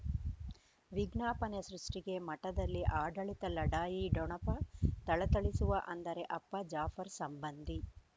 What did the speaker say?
ವಿಜ್ಞಾಪನೆ ಸೃಷ್ಟಿಗೆ ಮಠದಲ್ಲಿ ಆಡಳಿತ ಲಢಾಯಿ ಠೊಣಪ ಥಳಥಳಿಸುವ ಅಂದರೆ ಅಪ್ಪ ಜಾಫರ್ ಸಂಬಂಧಿ